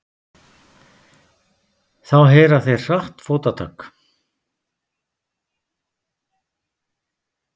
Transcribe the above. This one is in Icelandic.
Þá heyra þeir hratt fótatak.